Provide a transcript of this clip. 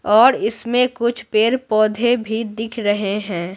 और इसमें कुछ पेड़-पौधे भी दिख रहे हैं।